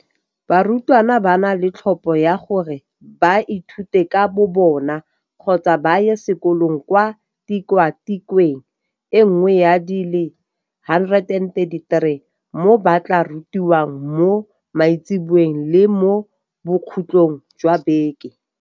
Barutwana ba na le tlhopho ya gore ba ithute ka bobona kgotsa ba ye sekolong kwa tikwatikweng e nngwe ya di le 133 mo ba tla rutiwang mo maitseboeng le mo bokhutlhong jwa beke.